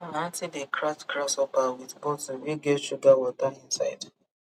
my aunty dey catch grasshopper with bottle wey get sugar water inside